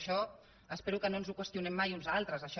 això espero que no ens ho qüestionem mai uns a altres això